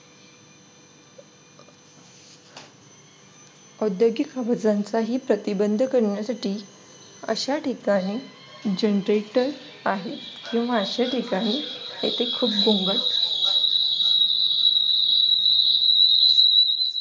औद्योगिक आवाजांचाही प्रतिबंध करण्यासाठी अशा ठिकाणी genrator आहेत किंवा अशा ठिकाणी येथे खुप घोंगाट